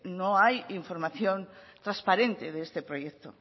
no hay información transparente de este proyecto